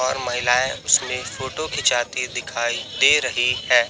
और महिलाएं उसमें फोटो खिंचाती दिखाई दे रही है।